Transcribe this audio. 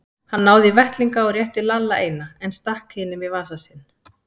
Hann náði í vettlinga og rétti Lalla eina, en stakk hinum í vasa sinn.